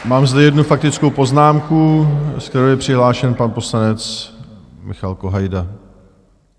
Mám zde jednu faktickou poznámku, se kterou je přihlášen pan poslanec Michal Kohajda.